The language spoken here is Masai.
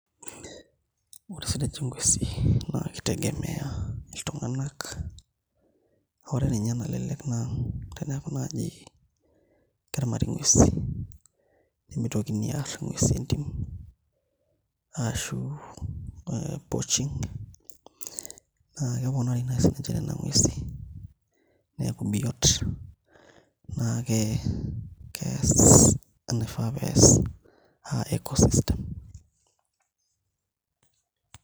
Ore sininche nguesi naa kitegemeailtung'anak, ore ninye enalelek naa tenenyoki naaji peyie eramati nguesi nemitoki aarr nguesi entim ashu ee poaching naa keponari naai siinche nena nguesi neeku biot naa kees enaifaa pee ees aa eco-system.